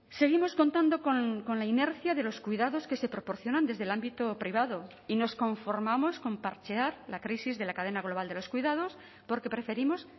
seguimos contando con la inercia de los cuidados que se proporcionan desde el ámbito privado y nos conformamos con parchear la crisis de la cadena global de los cuidados porque preferimos